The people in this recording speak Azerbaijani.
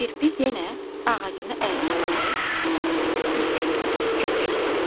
Kirpi yenə ağacını əlinə alıb tülkünü kötəklədi.